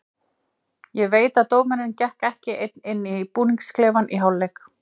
Ég veit að dómarinn gekk ekki einn inn í búningsklefann í hálfleik.